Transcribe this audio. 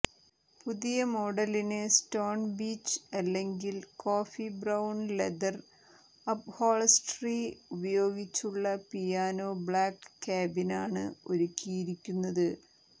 പുതിയ മോഡലിന് stone beige അല്ലെങ്കിൽ കോഫി ബ്രൌൺ ലെതർ അപ്ഹോൾസ്റ്ററി ഉപയോഗിച്ചുള്ള പിയാനോ ബ്ലാക്ക് ക്യാബിനാണ് ഒരുക്കിയിരിക്കുന്നത്